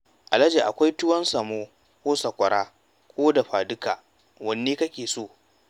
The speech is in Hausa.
Alhaji akwai tuwan samo ko sakwara ko dafa-duka, wanne kake so?